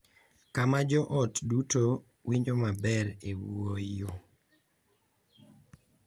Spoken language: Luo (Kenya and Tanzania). Kama jo ot duto winjo maber e wuoyo.